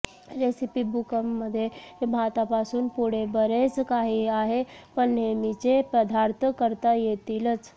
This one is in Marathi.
रेसिपी बुकमध्ये भातापासून पुढे बरेच काही आहे पण नेहमीचे पदार्थ करता येतीलच